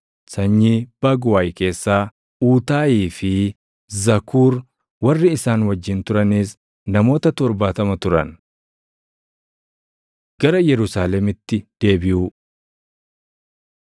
sanyii Baguwaay keessaa Uutaayii fi Zakuur; warri isaan wajjin turanis namoota 70 turan. Gara Yerusaalemitti Deebiʼuu